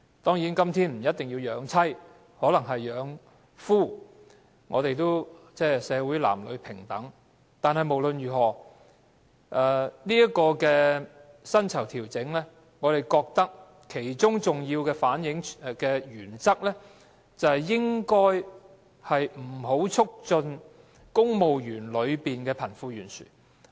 當然，今天不一定是賺錢養妻，可能是養夫，我們的社會是男女平等的，但無論如何，對於薪酬調整，我們認為當中的重要原則是不應促進公務員的貧富懸殊。